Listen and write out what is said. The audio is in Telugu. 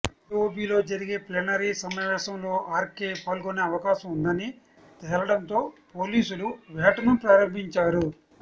ఎఓబిలో జరిగే ప్లీనరి సమావేశంలో ఆర్ కె పాల్గొనే అవకాశం ఉందని తేలడంతో పోలీసులు వేట ను ప్రారంభించారు